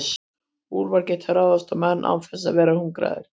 úlfar geta ráðist á menn án þess að vera hungraðir